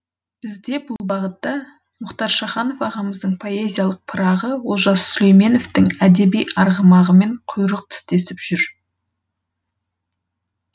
бізде бұл бағытта мұхтар шаханов ағамыздың поэзиялық пырағы олжас сүлейменовтің әдеби арғымағымен құйрық тістесіп жүр